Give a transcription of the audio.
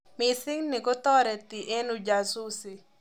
Mising ni kotoreti eng ujasusi.